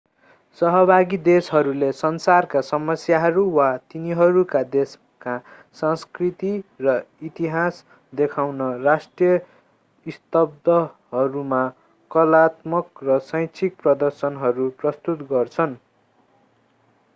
सहभागी देशहरूले संसारका समस्याहरू वा तिनीहरूका देशका संस्कृति र इतिहास देखाउन राष्ट्रिय स्तम्भहरूमा कलात्मक र शैक्षिक प्रदर्शनहरू प्रस्तुत गर्छन्